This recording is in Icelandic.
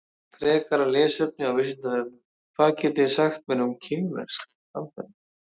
Frekara lesefni á Vísindavefnum: Hvað getið þið sagt mér um kínverskt samfélag?